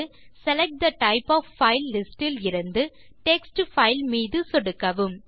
select the type of file list இலிருந்து text fileமீது சொடுக்கவும்